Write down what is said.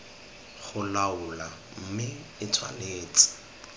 go laola mme e tshwanetse